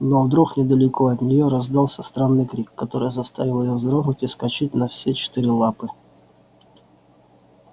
но вдруг недалеко от неё раздался странный крик который заставил её вздрогнуть и вскочить на все четыре лапы